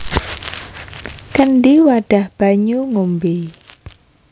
Kendhi wadhah banyu ngombé